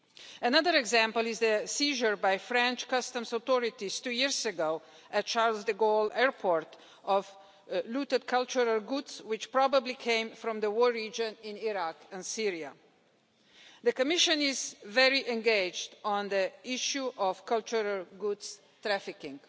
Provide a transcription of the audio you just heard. Another example is the seizure by French customs authorities two years ago at Charles de Gaulle Airport of looted cultural goods which probably came from the war region in Iraq and Syria. The Commission is very engaged on the issue of cultural goods trafficking.